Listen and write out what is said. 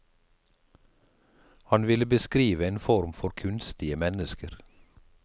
Han ville beskrive en form for kunstige mennesker.